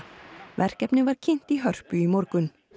verkefnið var kynnt í Hörpu í morgun